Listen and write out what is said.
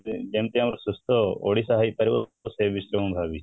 ଯେମିତି ଆମ ସୁସ୍ଥ ଓଡିଶା ହୋଇପାରିବ ସେଇ ବିଷୟରେ ମୁଁ ଭାବୁଛି